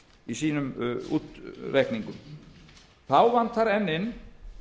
í sínum útreikningum þá vantar enn inn